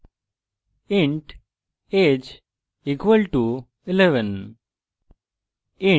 int age equal to 11